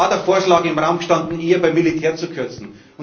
drin. Es war der Vorschlag im Raum gestanden, eher beim Militär zu kürzen.